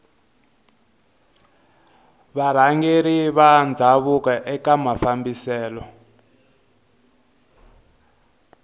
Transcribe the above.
varhangeri va ndhavuko eka mafambiselo